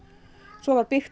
svo var byggt